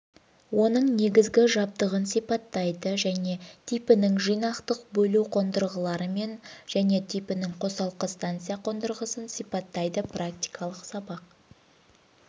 оның негізгі жабдығын сипаттайды және типінің жинақтық бөлу қондырғыларымен және типінің қосалқы станция қондырғысын сипаттайды практикалық сабақ